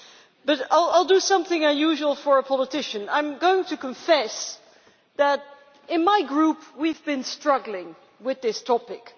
But I will do something unusual for a politician I am going to confess that in my Group we have been struggling with this topic.